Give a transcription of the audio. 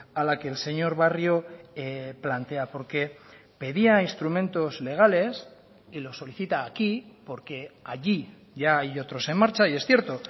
a la que el señor barrio plantea porque pedía instrumentos legales y lo solicita aquí porque allí ya hay otros en marcha y es cierto